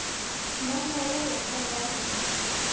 Mamma og Lolla frammi í eldhúsi.